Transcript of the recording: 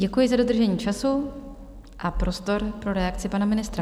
Děkuji za dodržení času a prostor pro reakci pana ministra.